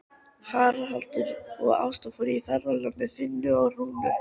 Haraldur og Ásta fóru í ferðalag með Finni og Rúnu.